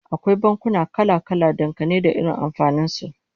Akwai bankuna kala-kala, dangane da irin amfanin su